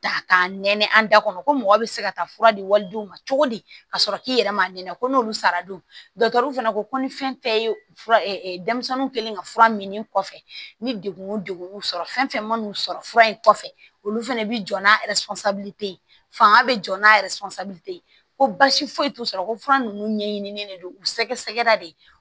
Ta ka nɛnɛ an da kɔnɔ ko mɔgɔ be se ka taa fura di walidenw ma cogo di ka sɔrɔ k'i yɛrɛ ma ɲɛnabɔ ko n'olu sara dontɛriw fana ko ko ni fɛn tɛ ye fura denmisɛnninw kɛlen ka fura min kɔfɛ ni degun o degun y'u sɔrɔ fɛn fɛn man n'u sɔrɔ fura in kɔfɛ olu fana bɛ jɔ n'a ye fanga bɛ jɔ n'a ko basi foyi t'u sɔrɔ ko fura ninnu ɲɛɲini de don u sɛgɛrɛ de